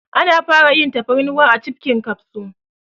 An fara yin man tafarnuwa a cibbbbhhkin kafso